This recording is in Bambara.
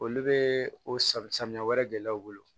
Olu bɛ o safunɛ wɛrɛ de dilan u bolo